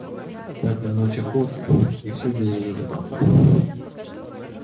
пятая ночь охоты и всё безрезультатно